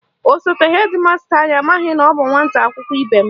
Osote hedi masta anyị amaghị na ọ bụ nwata akwụkwọ ibe m